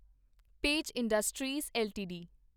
page Industries LTD